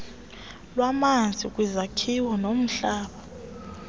lwamanzi kwizakhiwo nomhlaba